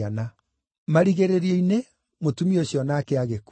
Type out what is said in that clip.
Marigĩrĩrio-inĩ, mũtumia ũcio o nake agĩkua.